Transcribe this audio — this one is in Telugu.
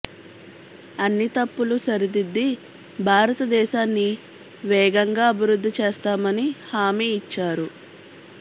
అన్ని తప్పులు సరిదిద్ది భారత దేశాన్ని వేగంగా అభివృద్ది చేస్తామని హామి ఇచ్చారు